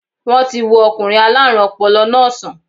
Wọ́n ti wo okùnrin aláàrùn ọpọlọ náà sàn